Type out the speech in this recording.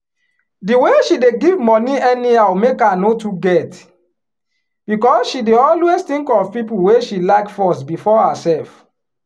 di way she dey give money anyhow make her no too get because she dey always think of people wey she like first before herself.